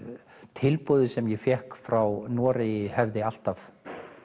tilboðið sem ég fékk frá Noregi hefði alltaf